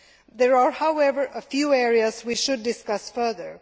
There are, however, a few areas we should discuss further.